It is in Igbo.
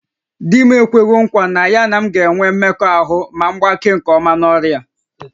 Di m ekwewo nkwa na ya na m ga-enwe mmekọahụ ma m gbakee nke ọma n'ọrịa a